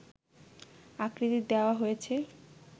আকৃতির দেওয়া হয়েছে